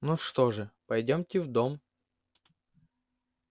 ну что же пойдёмте в дом